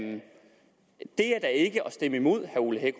stemme imod